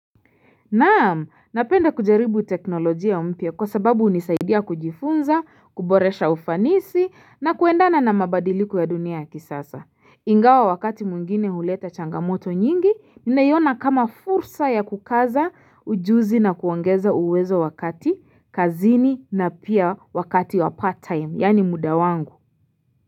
Naam napenda kujaribu teknolojia mpya kwa sababu hunisaidia kujifunza kuboresha ufanisi na kuendana na mabadiliko ya dunia ya kisasa ingawa wakati mwgine huleta changamoto nyingi naiona kama fursa ya kukaza ujuzi na kuongeza uwezo wakati kazini na pia wakati wa part time yani muda wangu.